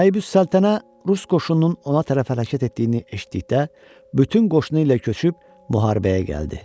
Naibüs Səltənə rus qoşununun ona tərəf hərəkət etdiyini eşitdikdə, bütün qoşunu ilə köçüb müharibəyə gəldi.